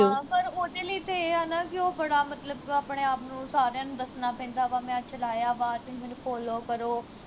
ਹਾਂ ਪਰ ਉਹਦੇ ਲਈ ਤੇ ਇਹ ਆ ਨਾ ਕੀ ਉਹ ਬੜਾ ਮਤਲਬ ਆਪਣੇ ਆਪ ਨੂੰ ਸਾਰਿਆ ਨੂੰ ਦੱਸਣਾ ਪੈਂਦਾ ਵਾਂ ਮੈਂ ਚਲਾਇਆ ਵਾਂ ਤੁਹੀ ਮੈਨੂੰ follow ਕਰੋ